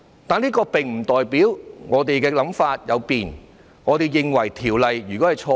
但是，這並不代表我們的想法有變，認為法案是錯的。